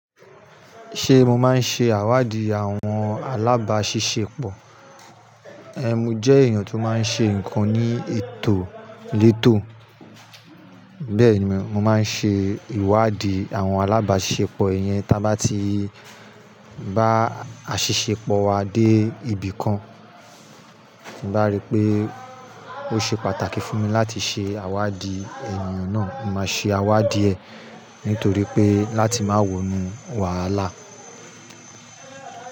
Ṣé mo máa ń ṣe àwáàdì àwọn alábáṣiṣẹ́pọ̀? Ehn, mo jẹ́ èèyàn tó máa ń ṣe nǹkan ní ètò létò. Bẹ́ẹ̀ ni, mo máa ń ṣe ìwáàdí àwọn alábáṣiṣẹ́pọ̀. I yen ta bá ti bá aṣìṣẹ́pọ̀ wa dé ibì kan, tí mo bá rí pé ó ṣe pàtàkì fún mi láti ṣe àwáàdí èèyàn náà, mo máa ṣe àwáàdí ẹ nítorí pé láti máa wọnú wàhálà.